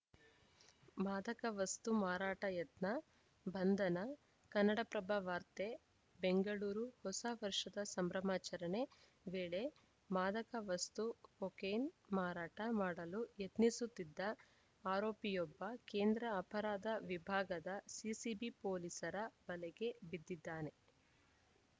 ಮಾದಕ ವಸ್ತು ಮಾರಾಟ ಯತ್ನ ಬಂಧನ ಕನ್ನಡಪ್ರಭ ವಾರ್ತೆ ಬೆಂಗಳೂರು ಹೊಸ ವರ್ಷದ ಸಂಭ್ರಮಾಚರಣೆ ವೇಳೆ ಮಾದಕ ವಸ್ತು ಕೊಕೇನ್‌ ಮಾರಾಟ ಮಾಡಲು ಯತ್ನಿಸುತ್ತಿದ್ದ ಆರೋಪಿಯೊಬ್ಬ ಕೇಂದ್ರ ಅಪರಾಧ ವಿಭಾಗದ ಸಿಸಿಬಿ ಪೊಲೀಸರ ಬಲೆಗೆ ಬಿದ್ದಿದ್ದಾನೆ